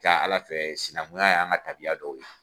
Ca Ala fɛ sinankunya y'an ka tabiya dɔ ye.